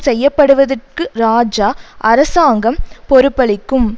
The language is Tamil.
செய்ய படுவதற்கு இராஜா அரசாங்கம் பொறுப்பளிக்கும்